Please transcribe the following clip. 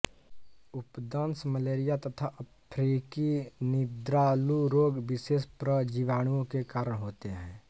उपदंश malaria तथा अफ्रीकी निद्रालुरोग विशेष प्रजीवाणुओं के कारण होते हैं